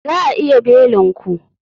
Za a iya belin ku?